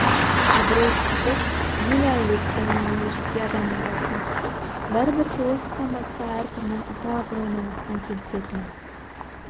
абырйсыздық мейлі әулеттің мейлі жеке адамның басына түс бәрібір философтан басқа әркімнің атақ-абыройына нұқсан келтіретіні